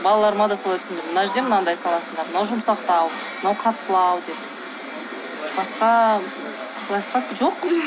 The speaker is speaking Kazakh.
балаларыма да солай түсіндірдім мына жерде мынандай саласыңдар мынау жұмсақтау мынау қаттылау деп басқа лайфхак жоқ